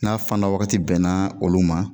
N'a fanda wagati bɛnna olu ma